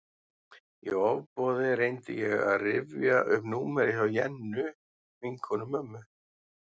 Í ofboði reyndi ég að rifja upp númerið hjá Jennu, vinkonu mömmu.